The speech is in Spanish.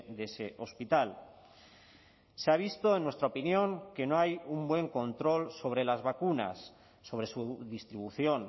de ese hospital se ha visto en nuestra opinión que no hay un buen control sobre las vacunas sobre su distribución